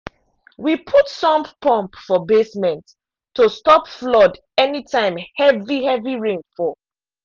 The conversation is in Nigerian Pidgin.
we put sump pump for basement to stop flood anytime heavy heavy rain fall.